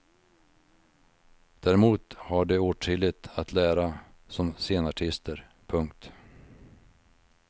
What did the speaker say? Däremot har de åtskilligt att lära som scenartister. punkt